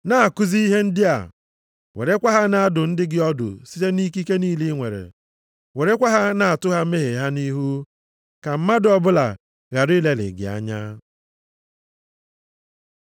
Na-akụzi ihe ndị a, werekwa ha na-adụ ndị gị ọdụ site nʼikike niile i nwere. Werekwa ha na-atụ ha mmehie ha nʼihu. Ka mmadụ ọbụla ghara ilelị gị anya.